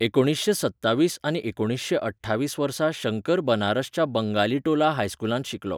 एकुणीसशें सत्तावीस आनी एकुणीसशें अठ्ठावीस वर्सा शंकर बनारसच्या बंगालीटोला हायस्कुलांत शिकलो.